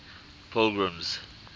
pilgrim's